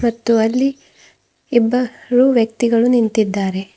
ಮತ್ತು ಅಲ್ಲಿ ಇಬ್ಬರು ವ್ಯಕ್ತಿಗಳು ನಿಂತಿದ್ದಾರೆ.